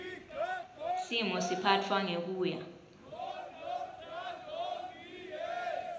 simo siphatfwa ngekuya